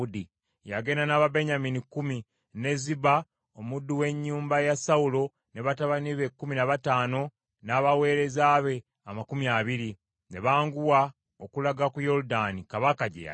Yagenda n’Ababenyamini lukumi, ne Ziba omuddu w’ennyumba ya Sawulo ne batabani be kkumi na bataano n’abaweereza be amakumi abiri. Ne banguwa okulaga ku Yoludaani kabaka gye yali.